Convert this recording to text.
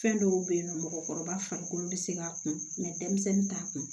Fɛn dɔw be yen nɔ mɔgɔkɔrɔba farikolo be se ka kun denmisɛnnin t'a kun